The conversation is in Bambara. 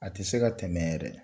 A tɛ se ka tɛmɛ yɛrɛ